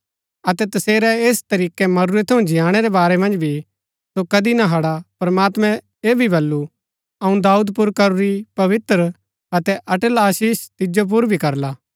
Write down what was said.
अतै तसेरै ऐस तरीकै मरूरै थऊँ जियाणै रै बारै मन्ज भी सो कदी ना हड़ा प्रमात्मैं ऐह भी बल्लू अऊँ दाऊद पुर करूरी पवित्र अतै अटल आशीष तिजो पुर भी करला